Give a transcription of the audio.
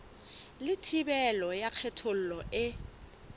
le thibelo ya kgethollo e